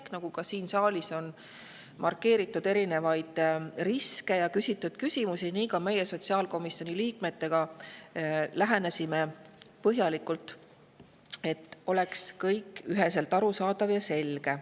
Nii nagu on siin saalis markeeritud erinevaid riske ja küsitud küsimusi, nii lähenesime ka meie sotsiaalkomisjoni liikmetega põhjalikult, et oleks kõik üheselt arusaadav ja selge.